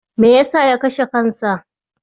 Me ya sa ya kashe kansa?